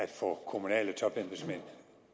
topembedsmænd